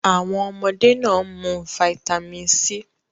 Awọn ọmọde naa n mu fáítámínì C